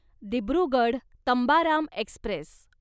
Dibrugarh Tambaram Express